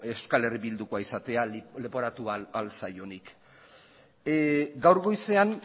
euskal herri bildukoa izatea leporatu ahal zaionik gaur goizean